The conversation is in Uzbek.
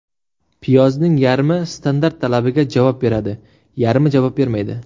Piyozning yarmi standart talabiga javob beradi, yarmi javob bermaydi.